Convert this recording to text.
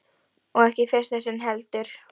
Og ekki í fyrsta sinn heldur.